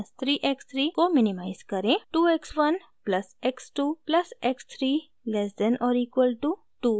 2 x 1 plus x 2 plus x 3 less than और equal to 2